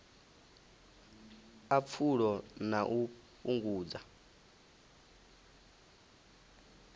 a pfulo na u fhungudza